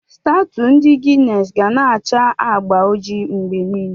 Stawtụ ndị Guinness ga-na acha agba ojii mgbe niile.